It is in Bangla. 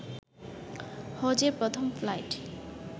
হজের প্রথম ফ্লাইট